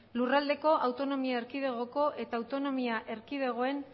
lurraldeko autonomi erkidegoko eta autonomia erkidegoen